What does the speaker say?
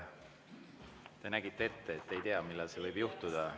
Te nägite ette, et te ei tea, millal see võib juhtuda.